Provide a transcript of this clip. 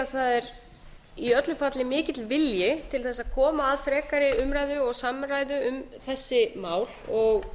það er í öllu falli mikill vilji til að koma að frekari umræðu og samræðu um þessi mál og